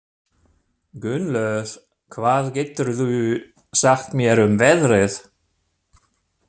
Gunnlöð, hvað geturðu sagt mér um veðrið?